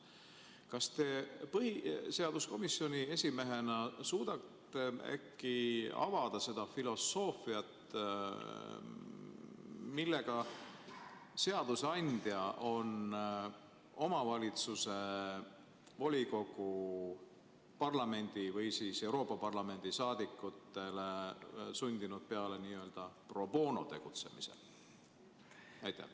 Kas te põhiseaduskomisjoni esimehena suudate äkki avada seda filosoofiat, millega seadusandja on omavalitsuse volikogu, parlamendi või Euroopa Parlamendi saadikutele sundinud peale n-ö pro bono tegutsemise?